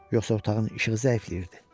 Yoxsa otağın işığı zəifləyirdi?